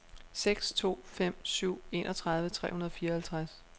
seks to fem syv enogtredive tre hundrede og fireoghalvtreds